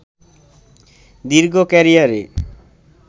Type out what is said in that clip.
দীর্ঘ ক্যারিয়ারে